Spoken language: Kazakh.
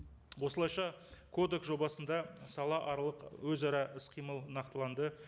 осылайша кодекс жобасында салааралық өзара іс қимыл нақтыланды